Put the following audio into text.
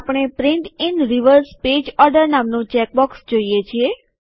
આપણે print in reverse page order નામનું check box જોઈએ છીએ